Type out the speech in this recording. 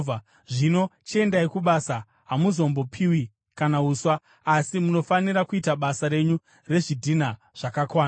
Zvino chiendai kubasa. Hamuzombopiwi kana uswa, asi munofanira kuita basa renyu rezvidhina zvakakwana.”